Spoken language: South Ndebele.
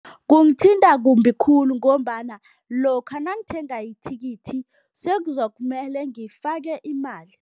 Kungithinta kumbi khulu ngombana lokha nangithenga ithikithi sekuzokumele ngifake imali.